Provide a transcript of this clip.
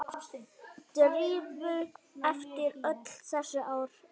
Drífu eftir öll þessi ár.